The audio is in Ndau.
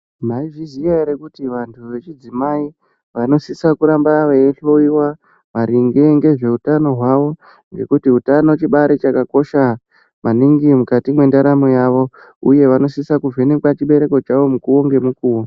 Mwaizviziya ere kuti vantu vechidzimai vasisa kuramba veihloyiwa maringe ngezveutano hwawo ngekuti utano chibari chakakosha maningi mukati mwendaramo yavo uye vanosise kuvhenekwa chibereko chavo mukuwo ngemukuwo.